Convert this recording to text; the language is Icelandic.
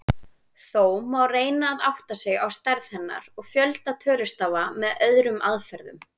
Þó má reyna að átta sig á stærð hennar og fjölda tölustafa með öðrum aðferðum.